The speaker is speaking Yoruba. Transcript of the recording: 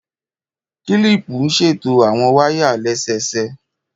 Kílìpù ń ṣètò àwon wáyà lẹ́sẹsẹ